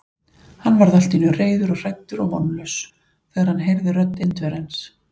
Hann varð allt í senn reiður og hræddur og vonlaus, þegar hann heyrði rödd Indverjans.